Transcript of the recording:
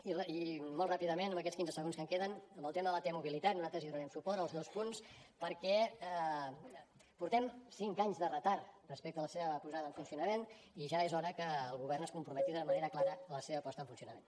i molt ràpidament en aquests quinze segons que em queden en el tema de la t mobilitat nosaltres donarem suport als dos punts perquè portem cinc anys de retard respecte a la seva posada en funcionament i ja és hora que el govern es comprometi d’una manera clara a la seva posada en funcionament